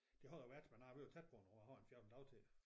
Det har der været men nej vi er tæt på nu jeg har en 14 dage til